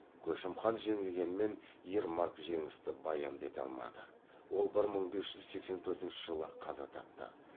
көшім хан жеңілгенмен ермак жеңісті баянды ете алмады ол бір мың бес жүз сексен төртінші жылы қаза тапты